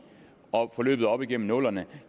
forløbet op igennem nullerne